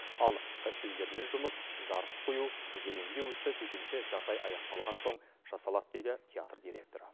ал костюмдермен жұмыс жарық қою гримдеу ісі төтенше жағдай аяқталған соң жасалады дейді театр директоры